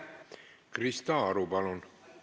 Krista Aru, palun!